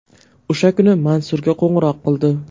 O‘sha kuni Mansurga qo‘ng‘iroq qildi.